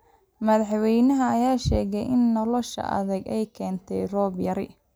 Madaxweynaha ayaa sheegay in nolosha adag ay keentay roob yari